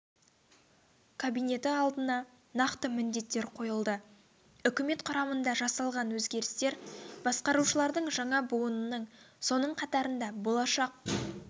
кабинеті алдына нақты міндеттер қойылды үкімет құрамында жасалған өзгерістер басқарушылардың жаңа буынының соның қатарында болашақ